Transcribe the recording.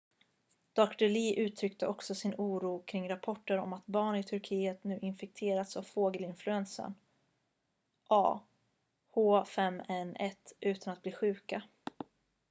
dr. lee uttryckte också sin oro kring rapporter om att barn i turkiet nu har infekterats av fågelinfluensan ah5n1 utan att bli sjuka